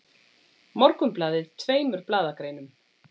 Morgunblaðið tveimur blaðagreinum